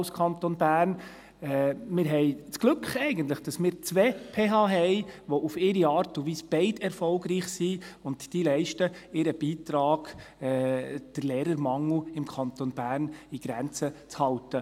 Wir haben das Glück, eigentlich, dass wir zwei PH haben, die auf ihre Art und Weise beide erfolgreich sind, und sie leisten ihren Beitrag, um den Lehrermangel im Kanton Bern in Grenzen zu halten.